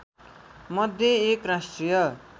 मध्ये एक राष्ट्रिय